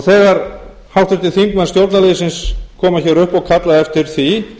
þegar háttvirtir þingmenn stjórnarliðsins koma hér upp og kalla eftir því